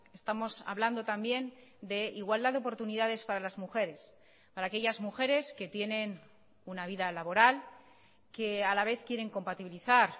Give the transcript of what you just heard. estamos hablando también de igualdad de oportunidades para las mujeres para aquellas mujeres que tienen una vida laboral que a la vez quieren compatibilizar